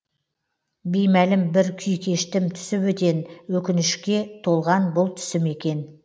беймәлім бір күй кештім түсі бөтен өкінішке толған бұл түсім екен